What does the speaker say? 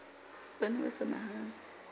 ba ne ba sa nahane